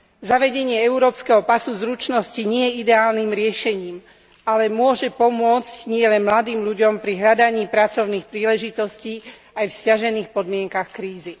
Zavedenie európskeho pasu zručnosti nie je ideálnym riešením, ale môže pomôcť nielen mladým ľuďom pri hľadaní pracovných príležitostí aj v sťažených podmienkach krízy.